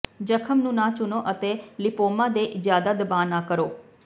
ਜ਼ਖ਼ਮ ਨੂੰ ਨਾ ਚੁਣੋ ਅਤੇ ਲਿਪੋਮਾ ਤੇ ਜ਼ਿਆਦਾ ਦਬਾਅ ਨਾ ਕਰੋ